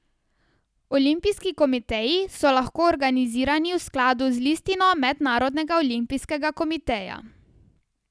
Olimpijski komiteji so lahko organizirani v skladu z listino Mednarodnega olimpijskega komiteja.